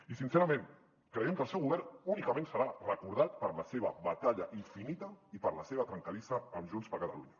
i sincerament creiem que el seu govern únicament serà recordat per la seva batalla infinita i per la seva trencadissa amb junts per catalunya